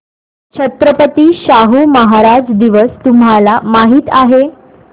छत्रपती शाहू महाराज दिवस तुम्हाला माहित आहे